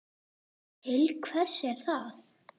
Til hvers er það?